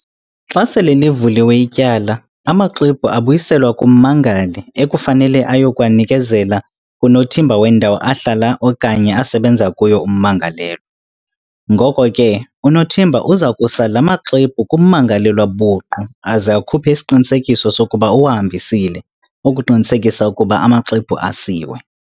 Xa sele livuliwe ityala, amaxwebhu abuyiselwa kummangali, ekufanele eyokuwanikezela kunothimba wendawo ahlala okanye asebenza kuyo ummangalelwa."Ngoko ke unothimba uza kusala amaxwebhu kummangalelwa buqu aze akhuphe isiqinisekiso sokuba uwahambisile, ukuqinisekisa ukuba amaxwebhu asiwe."